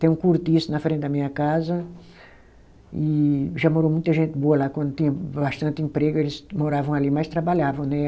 Tem um cortiço na frente da minha casa e já morou muita gente boa lá, quando tinha bastante emprego eles moravam ali, mas trabalhavam né.